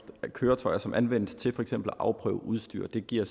af køretøjer som anvendes til for eksempel at afprøve udstyr og det giver